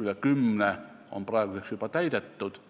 üle kümne on praeguseks juba täidetud.